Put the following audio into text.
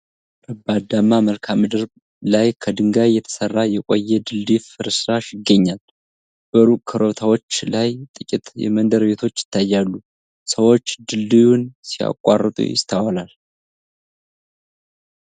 ረባዳማ መልክዓ-ምድር ላይ፣ ከድንጋይ የተሰራ የቆየ ድልድይ ፍርስራሽ ይገኛል። በሩቅ ኮረብታዎች ላይ ጥቂት የመንደር ቤቶች ይታያሉ። ሰዎች ድልድዩን ሲያቋርጡ ይስተዋላል።